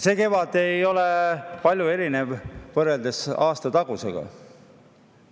See kevad ei erine aastatagusest palju.